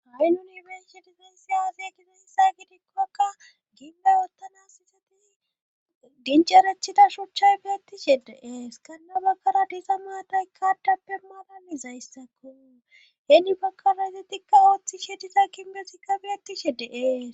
Ami nuni bensshe difaynsi aazey gides hisay gidikkoakka ginbay oottanas sisati dincarachita shuchchay biyatti shedeees kanna bakkara diisa maatay kaaddappe maalanizayssakku heeni bakara ise tikka ooththi she disa kinbesikka biyati she de'ees.